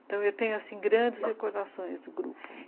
Então, eu tenho, assim, grandes recordações do grupo.